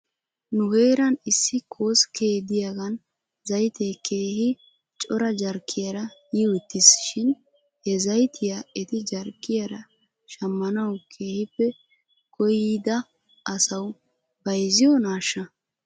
Nu heeran issi koskke de'iyaagan zaytee keehi cora jarkkiyaara yiwttis shin he zaytiyaa eti jarkkiyaara shamanaw keehippe koyida asaw bayzziyoonaashsha ?